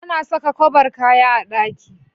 Ana saka kwabar kaya a ɗaki